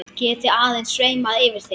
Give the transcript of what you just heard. Geti aðeins sveimað yfir þeim.